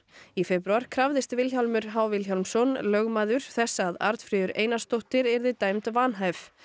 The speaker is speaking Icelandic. í febrúar krafðist Vilhjálmur h Vilhjálmsson þess að Arnfríður Einarsdóttir yrði dæmd vanhæf